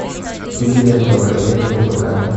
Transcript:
вруби ленту ограбление ураган